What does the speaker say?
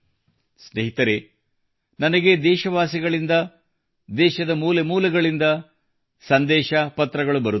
ಸ್ನೇಹಿತರೆ ನನಗೆ ದೇಶವಾಸಿಗಳಿಂದ ದೇಶದ ಮೂಲೆ ಮೂಲೆಗಳಿಂದ ಸಂದೇಶ ಪತ್ರಗಳು ಬರುತ್ತವೆ